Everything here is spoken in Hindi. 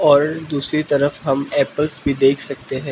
और दूसरी तरफ हम एप्लस भी देख सकते हैं।